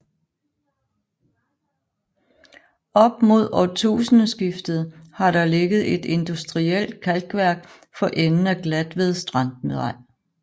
Op mod årtusindskiftet har der ligget et industrielt kalkværk for enden af Glatved Strandvej